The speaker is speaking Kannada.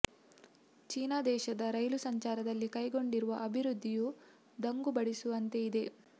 ಚೀನ ದೇಶದ ರೈಲು ಸಂಚಾರದಲ್ಲಿ ಕೈಗೊಂಡಿರುವ ಅಭಿವೃದ್ಧಿಯು ದಂಗು ಬಡಿಸುವಂತೆ ಇದೆ